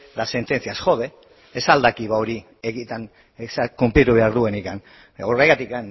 las sentencias ez al da hori egietan hori kunplitu behar duenik horregatik